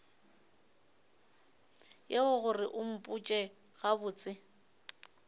yeo gore o mpotše gabotse